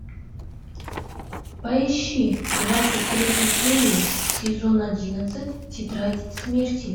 поищи двадцать третью серию сезон одиннадцать тетрадь смерти